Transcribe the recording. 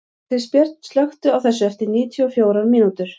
Kristbjörn, slökktu á þessu eftir níutíu og fjórar mínútur.